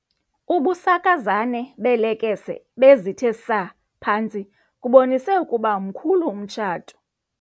Ubusakazane beelekese ebezithe saa phantsi bubonise ukuba mkhulu umtshato.